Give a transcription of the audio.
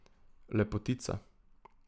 Lepotica.